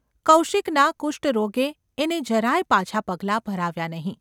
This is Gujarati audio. કૌશિકના કુષ્ટરોગે એને જરાય પાછાં પગલાં ભરાવ્યાં નહિ.